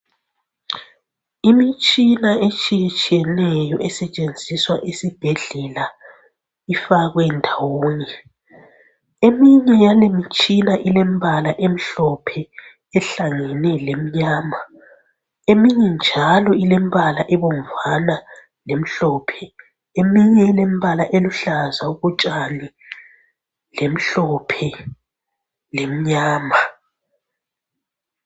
Imitshina etshiyetshiyeneyo esetshenziswa esibhedlela, ifakwe ndawonye. Eminye yalemitshina ilembala emhlophe ehlangene lemnyama. Eminyenjalo ilembala ebomvana lemhlophe. Eminye ilembala eluhlaza okotshani, lemhlophe, lemnyama.